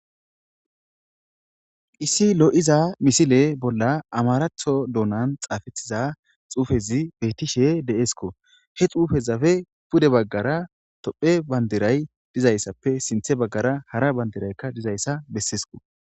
issi lo7iza misile bolla amaratho dounan xaafetiza xuufezi beettishe deesko he xuufezafe pude baggara tophe bandiray dizayssappe sinthe baggara hara bandiraykka dizayssa bessesko